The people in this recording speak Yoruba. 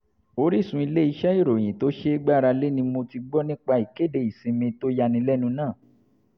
orísun ilé-iṣẹ́ ìròyìn tó ṣeé gbára lé ni mo ti gbọ́ nípa ìkéde ìsinmi tó yánilẹ́nu náà